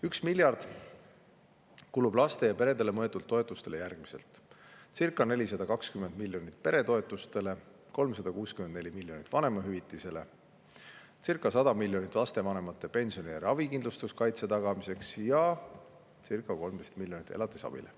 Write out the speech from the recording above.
1 miljard laste ja perede toetuseks kulub järgmiselt: circa 420 miljonit peretoetustele, 364 miljonit vanemahüvitisele, circa 100 miljonit lapsevanemate pensioni ja ravikindlustuskaitse tagamiseks ning circa 13 miljonit elatisabile.